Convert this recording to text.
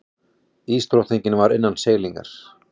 Ísdrottningin var innan seilingar.